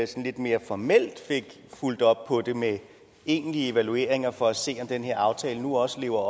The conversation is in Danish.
sådan lidt mere formelt fik fulgt op på det med egentlige evalueringer for at se om den her aftale nu også lever